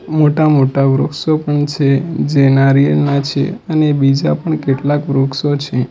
મોટા-મોટા વૃક્ષો પણ છે જે નારિયેલ ના છે અને બીજા પણ કેટલાક વૃક્ષો છે.